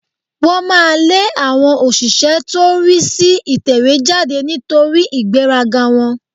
Wọ́n máa lé àwọn òṣìṣẹ́ tó rí sí ìtẹ̀wéjáde nítorí ìgbéraga wọn